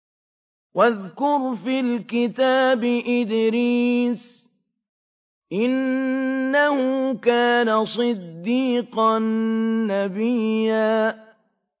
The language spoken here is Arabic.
وَاذْكُرْ فِي الْكِتَابِ إِدْرِيسَ ۚ إِنَّهُ كَانَ صِدِّيقًا نَّبِيًّا